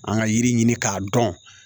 An ka yiri ɲini k'a dɔn